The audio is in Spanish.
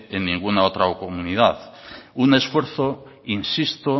en ninguna otra comunidad un esfuerzo insisto